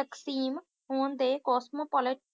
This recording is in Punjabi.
ਤਕਸੀਮ ਹੋਣ ਦੇ ਕੋਸਮੋਪੋਲੇਟਿਨ